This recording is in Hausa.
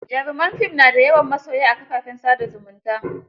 Jaruman fim na da yawan masoya a kafafen sa da zumunta.